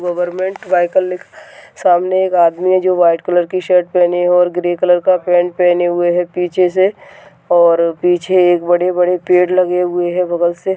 government vehicle लिख सामने एक आदमी है जो व्हाइट कलर की शर्ट पहने है और ग्रे कलर का पैंट पहने हुए है पीछे से और पीछे एक बड़े बड़े पेड़ लगे हुए है बगल से--